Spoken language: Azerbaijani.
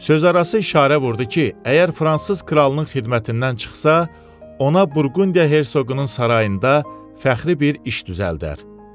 Sözarası işarə vurdu ki, əgər fransız kralının xidmətindən çıxsa, ona Burqundiya hersoqunun sarayında fəxri bir iş düzəldər.